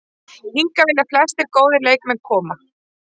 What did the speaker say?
Hingað vilja flestir góðir leikmenn koma.